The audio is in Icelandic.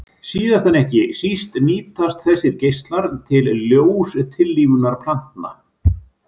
Síðast en ekki síst nýtast þessir geislar til ljóstillífunar plantna.